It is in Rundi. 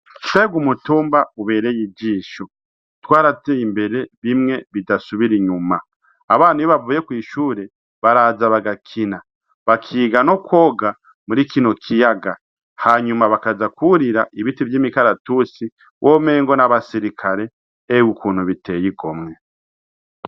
Umutumba uberey'ijisho twaratey 'imbere bimwe bidasubir'inyuma. Abana iyo bavure kwishure baraza bagakina bakiga nokwoga murikino kiyaga hanyuma baja kurira ibiti vy'imikaratusi womengo n'abasirikare ewe ukuntu bitey' igomwe .